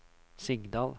Sigdal